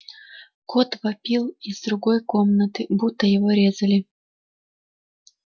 кот вопил из другой комнаты будто его резали